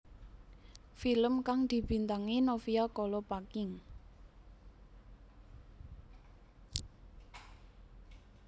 Film kang dibintangi Novia Kolopaking